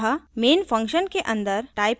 अतः main function के अन्दर type करें